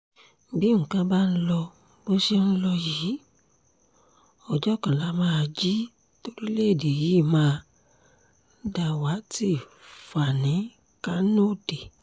bí nǹkan bá ń lọ bó ṣe ń lọ yìí ọjọ́ kan lá máa jí toríléèdè yìí máa dàwátì fani-kanode